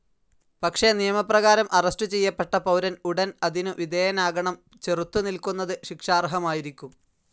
പക്ഷെ നിയമപ്രകാരം അറസ്റ്റു ചെയ്യപ്പെട്ട പൗരൻ ഉടൻ അതിനു വിധേയനാകണം, ചെറുത്തു നില്ക്കുന്നത് ശിക്ഷാർഹമായിരിക്കും.